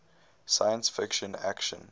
science fiction action